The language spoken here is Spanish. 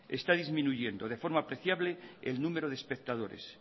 está disminuyendo de forma apreciable el número de espectadores